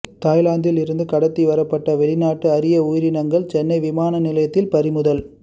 தாய்லாந்தில் இருந்து கடத்தி வரப்பட்ட வெளிநாட்டு அரிய உயிரினங்கள் சென்னை விமானநிலையத்தில் பறிமுதல்